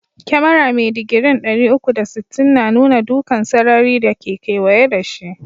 Kyamara mai digri'n dari uku da sitin na nuna dukan sarari da ke keweye da shi.